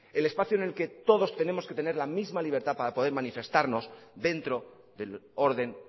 el espacio en el que todos tenemos que tener la misma libertad para poder manifestarnos dentro del orden